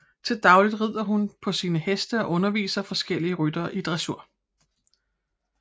Til daglig rider hun på sine heste og underviser forskellige ryttere i dressur